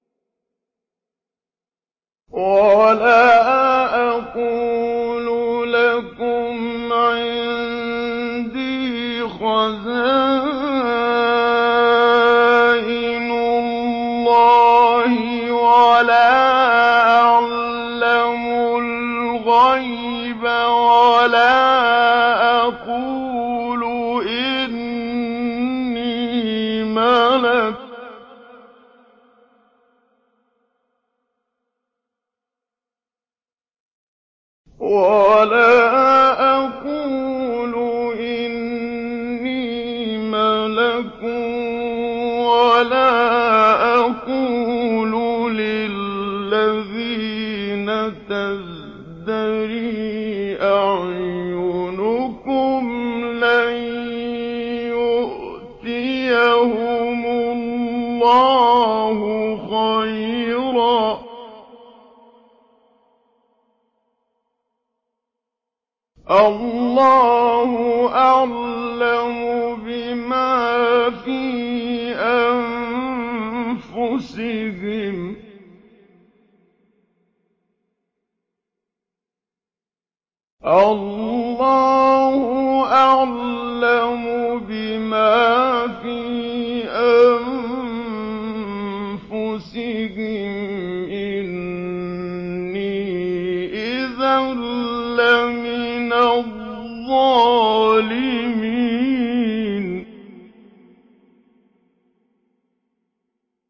وَلَا أَقُولُ لَكُمْ عِندِي خَزَائِنُ اللَّهِ وَلَا أَعْلَمُ الْغَيْبَ وَلَا أَقُولُ إِنِّي مَلَكٌ وَلَا أَقُولُ لِلَّذِينَ تَزْدَرِي أَعْيُنُكُمْ لَن يُؤْتِيَهُمُ اللَّهُ خَيْرًا ۖ اللَّهُ أَعْلَمُ بِمَا فِي أَنفُسِهِمْ ۖ إِنِّي إِذًا لَّمِنَ الظَّالِمِينَ